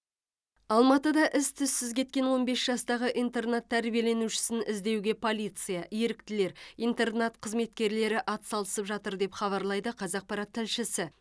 алматыда із түзсіз кеткен он бес жастағы интернат тәрбиеленушісін іздеуге полиция еріктілер интернат қызметкерлері атсалысып жатыр деп хабарлайды қазақпарат тілшісі